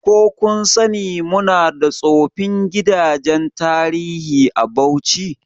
Ko kun sani muna da tsofin gidajen tarihi a Bauchi?